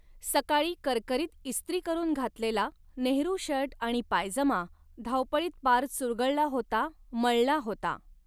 सकाळी करकरीत इस्त्री करून घातलेला नेहरू शर्ट आणि पायजमा धावपळीत पार चुरगळला होता, मळला होता.